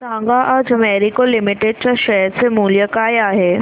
सांगा आज मॅरिको लिमिटेड च्या शेअर चे मूल्य काय आहे